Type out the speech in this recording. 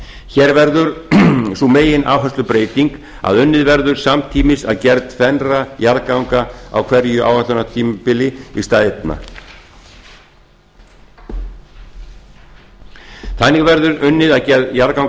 hér verður sú megináherslubreyting að unnið verður samtímis að gerð tvennra jarðganga á hverju áætlunartímabili í stað einna þannig verður unnið að gerð jarðganga